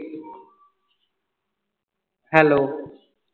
hello